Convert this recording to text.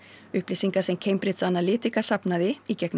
upplýsingar sem Cambridge Analytica safnaði í gegnum